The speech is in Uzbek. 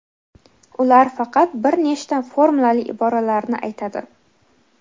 ular faqat bir nechta formulali iboralarni aytadi.